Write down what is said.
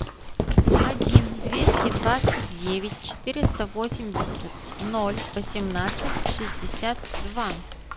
один двести двадцать девять четыреста восемьдесят ноль восемнадцать шестьдесят два